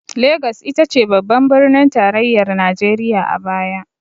Lagos ita ce babban birnin tarayyar najeriya a baya.